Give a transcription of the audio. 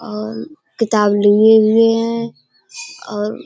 और किताब लिए हुए है और --